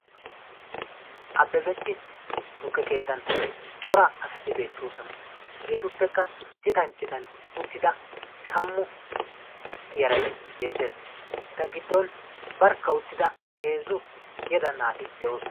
Abebech tukke keettan cora asati beettoosona hegeetuppekka citan citan uttida tammu yaray beettees eta giddon barkka uttida heezzu yeda naati de'oosona.